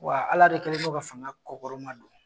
Wa ala de kɛlen do ka fanga kɔ kɔrɔma don